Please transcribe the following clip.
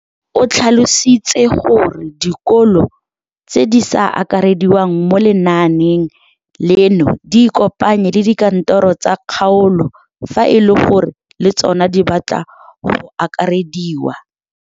O tlhalositse gore dikolo tse di sa akarediwang mo lenaaneng leno di ikopanye le dikantoro tsa kgaolo fa e le gore le tsona di batla go akarediwa.